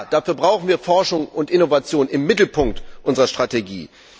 Ja, dafür brauchen wir Forschung und Innovation im Mittelpunkt unserer Strategie!